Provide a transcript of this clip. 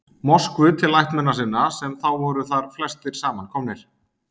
Moskvu til ættmenna sinna, sem þá voru þar flestir saman komnir.